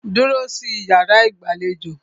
Dúró sí iyàrá ìgbàlejò!